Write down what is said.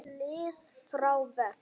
lið frá vegg?